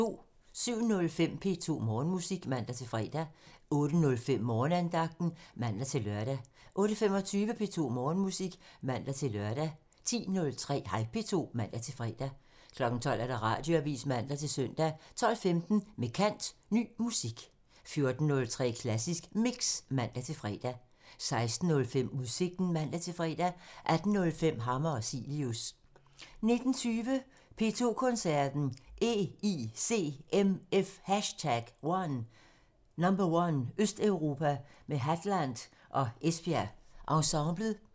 07:05: P2 Morgenmusik (man-fre) 08:05: Morgenandagten (man-lør) 08:25: P2 Morgenmusik (man-lør) 10:03: Hej P2 (man-fre) 12:00: Radioavisen (man-søn) 12:15: Med kant – Ny musik 14:03: Klassisk Mix (man-fre) 16:05: Udsigten (man-fre) 18:05: Hammer og Cilius (man) 19:20: P2 Koncerten – EICMF #1: Østeuropa med Hadland og Esbjerg Ensemblet